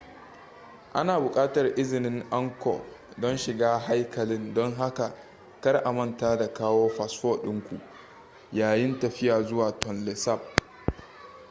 ana buƙatar izinin angkor don shiga haikalin don haka kar a manta da kawo fasfo ɗinku yayin tafiya zuwa tonle sap